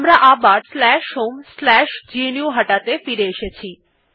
আমার আবার homegnuhata ত়ে ফিরে এসেছি